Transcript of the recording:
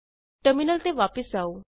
terminal ਤੇ ਵਾਪਸ ਆਉ